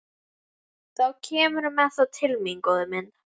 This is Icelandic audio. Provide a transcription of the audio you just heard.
Þá kemurðu með þá til mín, góði minn.